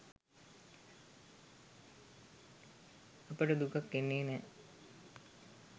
අපට දුකක් එන්නේ නෑ.